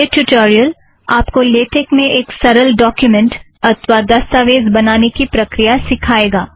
यह ट्युटोरियल आप को लेटेक में एक सरल डोक्युमेंट बनाने की प्रक्रिया सिखाएगा